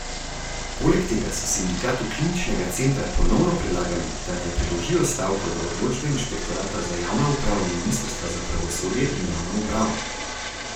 Poleg tega so Sindikatu Kliničnega centra ponovno predlagali, da naj preložijo stavko do odločbe inšpektorata za javno upravo ministrstva za pravosodje in javno upravo.